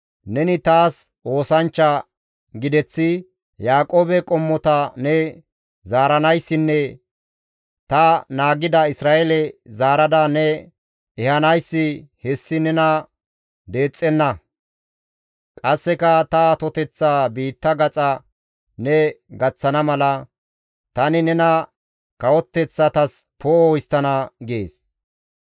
«Neni taas oosanchcha gideththi, Yaaqoobe qommota ne zaaranayssinne ta naagida Isra7eele zaarada ne ehanayssi hessi nena deexxenna; qasseka ta atoteththaa biitta gaxa ne gaththana mala, tani nena kawoteththatas poo7o histtana» gees.